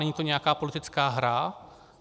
Není to nějaká politická hra.